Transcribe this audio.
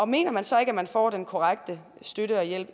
mener man så ikke at man får den korrekte støtte og hjælp